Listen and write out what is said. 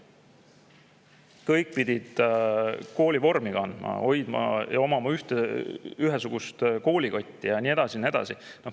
Kõik pidid koolivormi kandma ja omama ühesugust koolikotti ja nii edasi ja nii edasi.